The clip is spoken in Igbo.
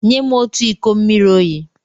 Nye m otu iko mmiri oyi!